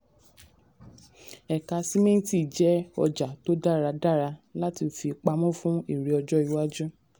ẹ̀ka sìmẹ́ntì jẹ́ ọjà tó dára dára láti fi pamọ́ fún èrè ọjọ́ iwájú.